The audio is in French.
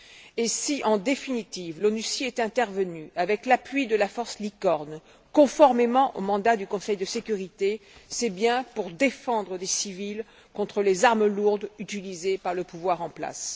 Et si, en définitive, l'ONUCI est intervenue, avec l'appui de la force Licorne, conformément au mandat du Conseil de sécurité, c'est bien pour défendre les civils contre les armes lourdes utilisées par le pouvoir en place.